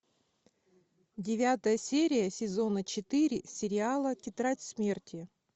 девятая серия сезона четыре сериала тетрадь смерти